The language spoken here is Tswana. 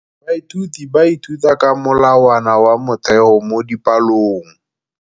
Baithuti ba ithuta ka molawana wa motheo mo dipalong.